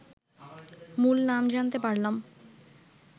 মূল নাম জানতে পারলাম